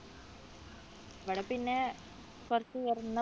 ഇവിടെ പിന്നെ കുറച്ച് ഉയർന്നപ്രദേ